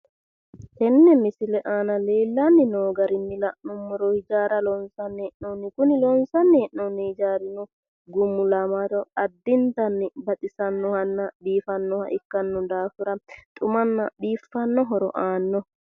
Tene misile aana leellani no garinni la'nuummoro loossamani noo hijaarati kuni hijaari loosame goofiro lowo horo aanohanna lowo geeshsha biifanoha xuma ikkano